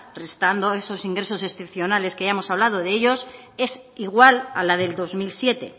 restando esos ingresos excepcionales que ya hemos hablado de ellos es igual a la del dos mil siete